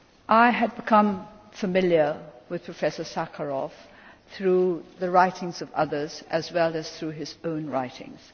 I had become familiar with Professor Sakharov through the writings of others, as well as through his own writings.